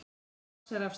Þeir marsera af stað.